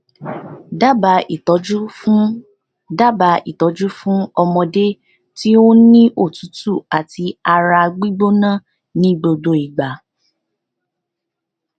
daba itọju fun daba itọju fun ọmọde ti o n ni otutu ati ara gbigbona ni gbogbo igba